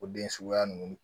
O den suguya nunnu